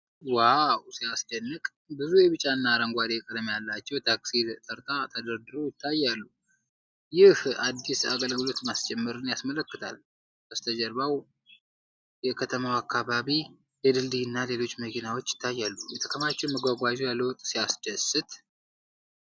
ዋው ሲያስደንቅ! ብዙ የቢጫና አረንጓዴ ቀለም ያላቸው ታክሲዎች ተርታ ተደርድረው ይታያሉ። ይህ አዲስ የአገልግሎት ማስጀመርን ያመለክታል። ከበስተጀርባው የከተማው አካባቢ፣ የድልድይና ሌሎች መኪናዎች ይታያሉ። የከተማው መጓጓዣ ለውጥ ሲያስደስት!